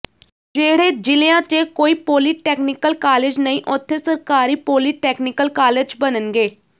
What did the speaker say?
ਜਿਹੜੇ ਜ਼ਿਲ੍ਹਿਆਂ ਚ ਕੋਈ ਪੋਲੀਟੈਕਨੀਕਲ ਕਾਲਜ ਨਹੀਂ ਉੱਥੇ ਸਰਕਾਰੀ ਪੋਲੀਟੈਕਨੀਕਲ ਕਾਲਜ ਬਣਨਗੇ